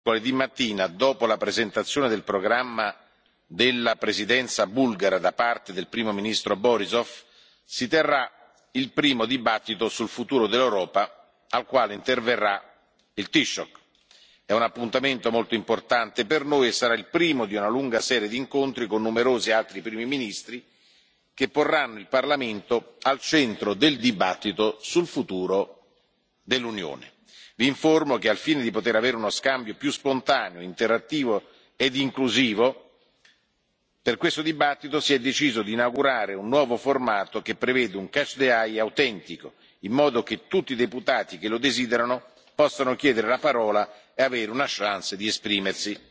Come sapete mercoledì mattina, dopo la presentazione del programma della Presidenza bulgara da parte del primo ministro Borissov, si terrà il primo dibattito sul futuro dell'Europa, al quale interverrà il Taoiseach. È un appuntamento molto importante per noi, e sarà il primo di una lunga serie di incontri con numerosi altri primi ministri, che porranno il Parlamento al centro del dibattito sul futuro dell'Unione. Vi informo che, al fine di poter avere uno scambio più spontaneo, interattivo e inclusivo, per questo dibattito si è deciso di inaugurare un nuovo formato, che prevede un catch the eye autentico, in modo che tutti i deputati che lo desiderano possano chiedere la parola e avere una chance di esprimersi.